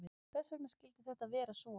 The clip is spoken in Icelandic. Hvers vegna skyldi þetta vera svo?